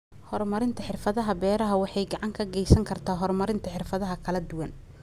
Horumarinta Xirfadaha Beeraha waxay gacan ka geysan kartaa horumarinta xirfado kala duwan.